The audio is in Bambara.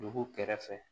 Dugu kɛrɛfɛ